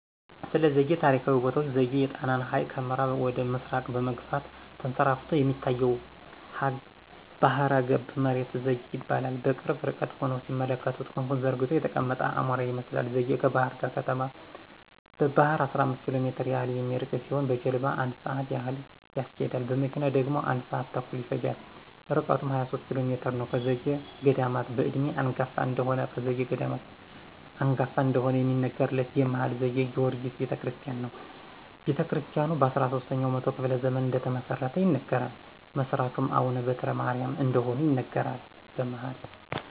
ስለዘጌ ታሪካዊ ቦታዎች ዘጌ የጣናን ሀይቅ ከምአራብ ወደ ምስራቅ በመግፋት ተንሰራፍቶ የሚታየው ባህረገብ መሬት ዘጌ ይባላል። በቅርብ ርቀት ሁነው ሲመለከቱት ክንፉን ዘርግቶ የተቀመጠ አሞራ ይመስላል ዘጌ ከባህርዳር ከተማ በባህር 15 ኪሎሜትር ያህል የሚርቅ ሲሆን በጀልባሞ 1 ስአት ያህል ያስኬዳል። በመኪና ደግሞ 1 ስአት ተኩል ይፈጃል ርቀቱም 23 ኪሎሜትር ነዉ። ከዘጌ ገዳማት በእድሜ አንጋፋ እደሆነ ከዘጌ ገዳማት በእድሜ አንጋፋ እደሆነ የሚነገርለት የመሀል ዘጌ ጊወርጊስ ቤተክርስቲያን ነው። ቤተክርስታያኑ በ13 ኛው መቶ ክፍለ ዘመን እደተመሰረተ ይነገራል። መስራቹም አቡነ በትረማርያም እደሆኑ ይነገራል። በመሀል